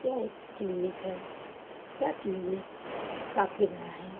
यह एक क्लिनिक है यह क्लिनिक काफी बड़ा है।